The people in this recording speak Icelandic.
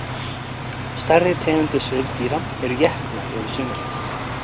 Stærri tegundir svifdýra eru étnar yfir sumarið.